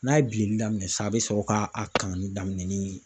N'a ye bilenni daminɛ sisan a bɛ sɔrɔ k'a kanni daminɛ ni